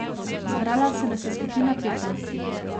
Zbrala se nas je skupina petnajstih.